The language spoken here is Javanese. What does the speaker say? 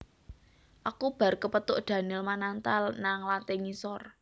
Aku bar kepethuk Daniel Mananta nang lantai ngisor